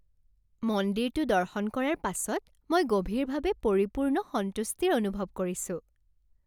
মন্দিৰটো দৰ্শন কৰাৰ পাছত মই গভীৰভাৱে পৰিপূৰ্ণ সন্তুষ্টিৰ অনুভৱ কৰিছোঁ।